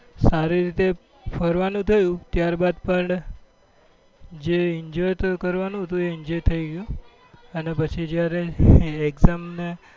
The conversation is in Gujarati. સારી રીતે ફરવા નું થયું ત્યાર બાદ પણ જે enjoy એ enjoy થઇ ગયું અને પછી જયારે exam ને